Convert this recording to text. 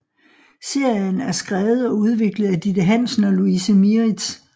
Serien er skrevet og udviklet af Ditte Hansen og Louise Mieritz